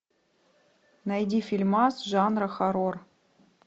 найди фильмас жанра хоррор